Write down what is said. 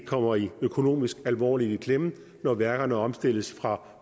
kommer økonomisk alvorligt i klemme når værkerne omstilles fra